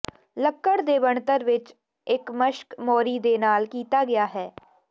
ਲੱਕੜ ਦੇ ਬਣਤਰ ਵਿਚ ਇਕ ਮਸ਼ਕ ਮੋਰੀ ਦੇ ਨਾਲ ਕੀਤਾ ਗਿਆ ਹੈ